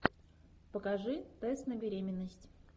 покажи тест на беременность